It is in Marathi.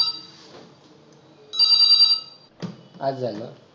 आज झालं